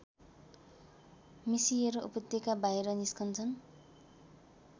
मिसिएर उपत्यकाबाहिर निस्कन्छन्